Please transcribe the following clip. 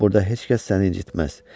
Burda heç kəs səni incitməz.